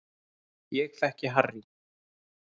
Ég þekki Harry